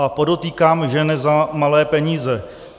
A podotýkám, že ne za malé peníze.